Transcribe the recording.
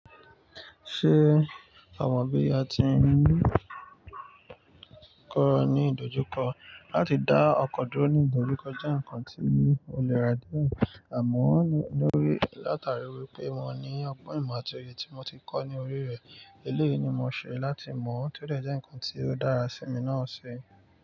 Ṣé a mọ bí a ti ń kọ́ ni ìdojúkọ láti dá ọkọ̀ dúró ní ìgbòríko jẹ́ nǹkan tí ó lè ráde àmọ́ lórí látàrí wípé mo ní ọgbọ́n ìmọ̀ àti èrè tí mo ti kọ́ ní orí rẹ̀. Eléyìí ni mo ṣe láti mọ̀ bó ti o jẹ́ nǹkan tí ó dára sí mi náà ṣe.